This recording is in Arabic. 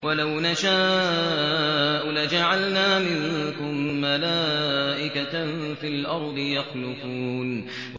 وَلَوْ نَشَاءُ لَجَعَلْنَا مِنكُم مَّلَائِكَةً فِي الْأَرْضِ يَخْلُفُونَ